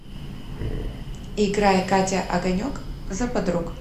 играй катя огонек за подруг